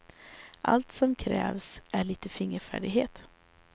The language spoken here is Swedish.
Allt som krävs är lite fingerfärdighet.